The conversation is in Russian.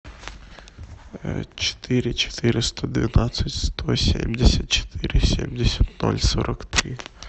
четыре четыреста двенадцать сто семьдесят четыре семьдесят ноль сорок три